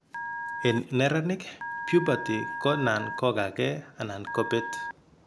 En neranik , puberty ko nan ko gaa gee anan kobet